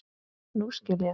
Nú skil ég.